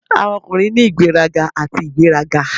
Awọn ọkunrin ni igberaga ati igberaga.